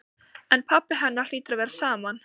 En pabba hennar hlýtur að vera sama.